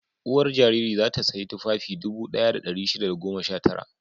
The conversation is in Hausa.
Uwar jariri za ta sayi tufafi dubu ɗaya da ɗari shida da goma sha tara.